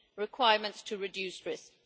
requirements to reduce risks